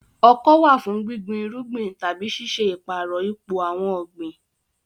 Ọkọ́ wà fún gbígbin irúgbìn tàbí ṣíṣe ìpààrọ̀ ipò àwọn ọ̀gbìn.